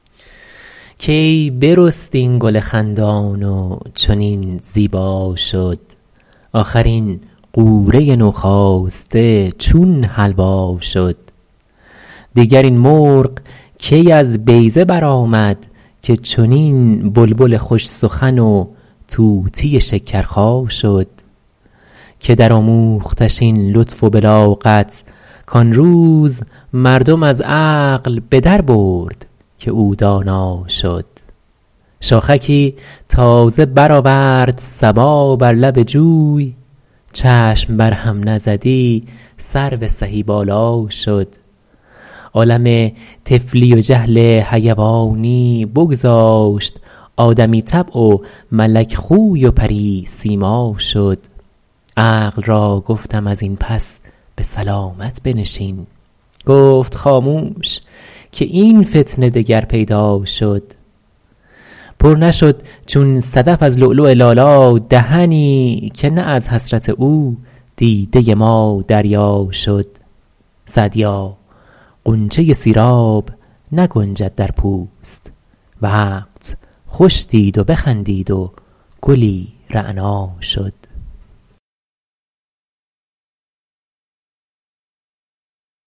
کی برست این گل خندان و چنین زیبا شد آخر این غوره نوخاسته چون حلوا شد دیگر این مرغ کی از بیضه برآمد که چنین بلبل خوش سخن و طوطی شکرخا شد که درآموختش این لطف و بلاغت کان روز مردم از عقل به دربرد که او دانا شد شاخکی تازه برآورد صبا بر لب جوی چشم بر هم نزدی سرو سهی بالا شد عالم طفلی و جهل حیوانی بگذاشت آدمی طبع و ملک خوی و پری سیما شد عقل را گفتم از این پس به سلامت بنشین گفت خاموش که این فتنه دگر پیدا شد پر نشد چون صدف از لؤلؤ لالا دهنی که نه از حسرت او دیده ما دریا شد سعدیا غنچه سیراب نگنجد در پوست وقت خوش دید و بخندید و گلی رعنا شد